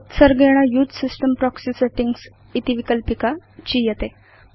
उत्सर्गेण उसे system proxy settings इति विकल्पिका चीयते